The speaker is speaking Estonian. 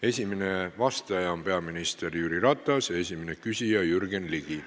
Esimene vastaja on peaminister Jüri Ratas ja esimene küsija Jürgen Ligi.